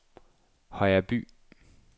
Højreby